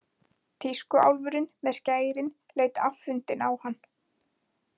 Tískuálfurinn með skærin leit afundinn á hann.